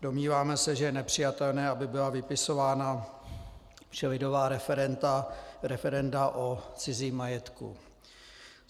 Domníváme se, že je nepřijatelné, aby byla vypisována všelidová referenda o cizím majetku.